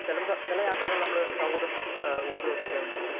Speaker 2 ചെലപ്പോ ചില യാത്രകൾ നമ്മൾ സൗഹൃദം അഹ് ഊട്ടിയുറപ്പിക്കാൻ വേണ്ടി പോകും.